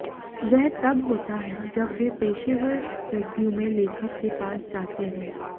वह तब होता है जब वे पेशेवर रेज़्यूमे लेखक के पास जाते हैं